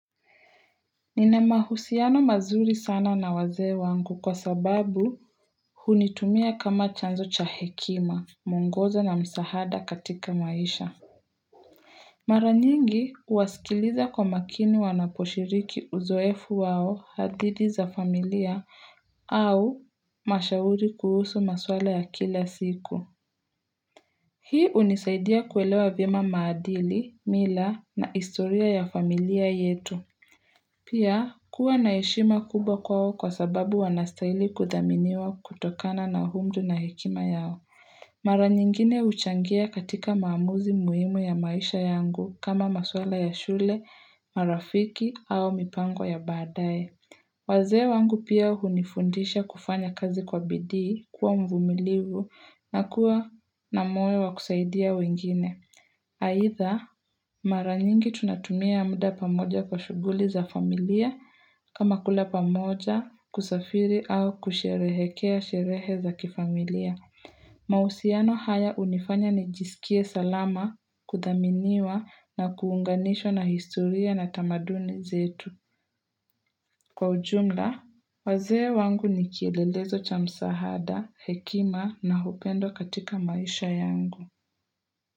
Nina mahusiano mazuri sana na wazee wangu kwa sababu hunitumia kama chanzo cha hekima, mwongozo na msahada katika maisha. Mara nyingi huwasikiliza kwa makini wanaposhiriki uzoefu wao hadithi za familia au mashauri kuhusu maswala ya kila siku. Hii hunisaidia kuelewa vyema maadili, mila na historia ya familia yetu. Pia kuwa na heshima kubwa kwao kwa sababu wanastahili kuthaminiwa kutokana na umri na hekima yao. Mara nyingine huchangia katika maamuzi muhimu ya maisha yangu kama maswala ya shule, marafiki au mipango ya baadaye. Wazee wangu pia hunifundisha kufanya kazi kwa bidii kuwa mvumilivu na kuwa na moyo wa kusaidia wengine. Aidha, mara nyingi tunatumia muda pamoja kwa shughuli za familia kama kula pamoja kusafiri au kusherehekea sherehe za kifamilia. Mahusiano haya hunifanya nijisikie salama, kuthaminiwa na kuunganishwa na historia na tamaduni zetu. Kwa ujumla, wazee wangu ni kielelezo cha msaada, hekima na upendo katika maisha yangu.